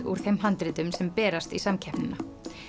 úr þeim handritum sem berast í samkeppnina